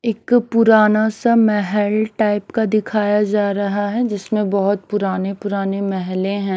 एक पुराना सा महल टाइप का दिखाया जा रहा है जिसमें बहोत पुराने पुराने महले हैं।